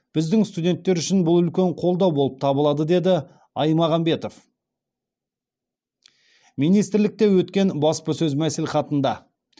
біздің студенттер үшін бұл үлкен қолдау болып табылады деді аймағамбетов министрлікте өткен баспасөз мәслихатында